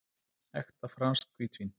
Ekta franskt hvítvín.